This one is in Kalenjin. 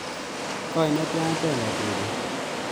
Koi netian Brenda chebet